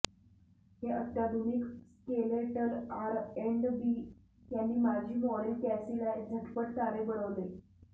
हे अत्याधुनिक skeletal R and B यांनी माजी मॉडेल कॅसीला झटपट तारे बनवले